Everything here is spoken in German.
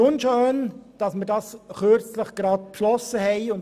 Es ist unschön, dass wir vor kurzem eine Unterstützung beschlossen haben.